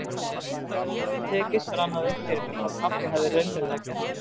Þegar það hafði tekist rann það upp fyrir mér hvað pabbi hafði raunverulega gert mér.